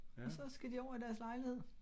Og så skal de over i deres lejlighed